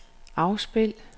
afspil